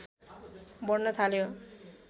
बढ्न थाल्यो